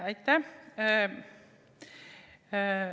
Aitäh!